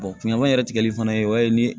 ɲaman yɛrɛ tigɛli fana ye o ye